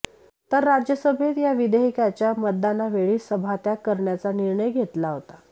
तर राज्यसभेत या विधेयकाच्या मतदानावेळी सभात्याग करण्याचा निर्णय घेतला होता